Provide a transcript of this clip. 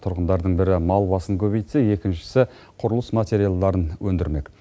тұрғындардың бірі мал басын көбейтсе екіншісі құрылыс материалдарын өндірмек